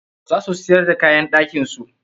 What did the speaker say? Za su siyar d kaayan ɗakin su.